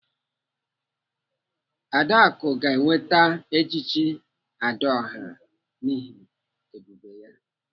Adaku ga-enweta echichi Adaọha n'ihi ebube ya.